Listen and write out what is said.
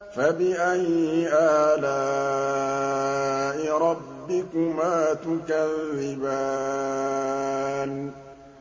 فَبِأَيِّ آلَاءِ رَبِّكُمَا تُكَذِّبَانِ